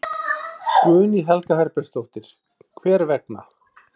Guðný Helga Herbertsdóttir: Hver vegna?